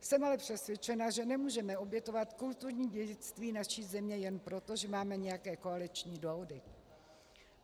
Jsem ale přesvědčena, že nemůžeme obětovat kulturní dědictví naší země jen proto, že máme nějaké koaliční dohody.